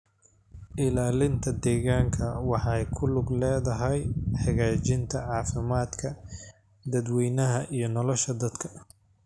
Ilaalinta deegaanka waxay ku lug leedahay hagaajinta caafimaadka dadweynaha iyo nolosha dadka.